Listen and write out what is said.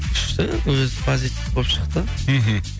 күшті өзі позитив болып шықты мхм